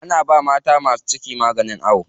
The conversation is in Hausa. Ana bawa mata masu ciki magani a awo.